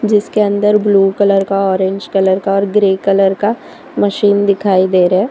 जिसके अंदर blue colour का ऑरेंज कलर का और ग्रे कलर का मशीन दिखाई दे रहा है।